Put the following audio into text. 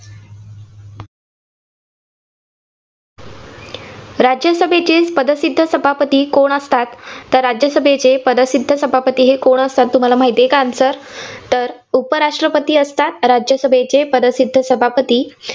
राज्यसभेतील पदसिद्ध सभापती कोण असतात? तर राज्यसभेचे पदसिद्ध सभापती कोण असतात तुम्हाला माहितेय का answer तर उपराष्ट्रपती असतात राज्यसभेचे पदसिद्ध सभापती.